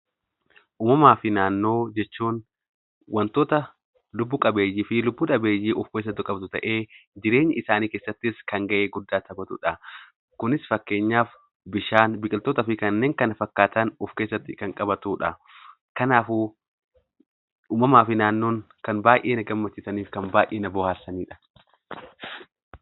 Uumamaa fi naannoo jechuun wantoota lubbu qabeeyyii fi lubbu dhabeeyyii of keessatti qabatu ta'ee, jireenya isaanii keessattis kan gahee guddaa taphatu dha. Kunis fakkeenyaaf bishaan, biqiltootaa fi kanneen kana fakkaatan of keessatti kan qabatu dha. Kanaafuu uumamaa fi naannoon kan baay'ee na gammachiisanii fi kan baay'ee na bohaarsani dha.